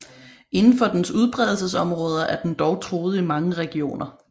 Indenfor dens udbredelsesområder er den dog truet i mange regioner